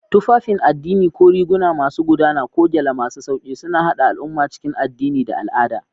Tufafin addini, ko riguna masu gudana ko gyale masu sauƙi, suna haɗa al'umma cikin addini da al'ada.